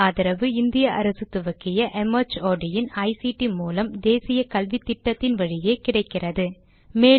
இதற்கு ஆதரவு இந்திய அரசு துவக்கிய ஐசிடி மூலம் தேசிய கல்வித்திட்டத்தின் வழியே கிடைக்கிறது